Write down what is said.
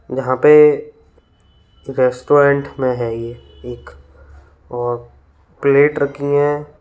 यहां पे रेस्टोरेंट में है ये एक और प्लेट रखी हैं।